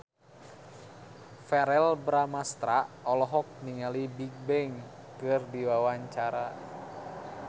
Verrell Bramastra olohok ningali Bigbang keur diwawancara